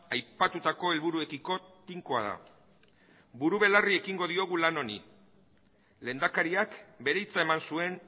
aipatutako helburuekiko tinkoa da buru belarri ekingo diogula lan honi lehendakariak bere hitza eman zuen